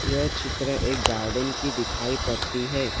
यह चित्र एक गार्डन की दिखाई पड़ती है।